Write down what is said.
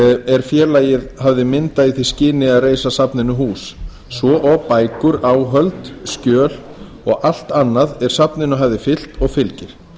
er félagið hafði myndað í því skyni að reisa safninu hús svo og bækur áhöld skjöl og allt annað er safninu hafði fylgt og fylgir